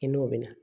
I n'o bɛ na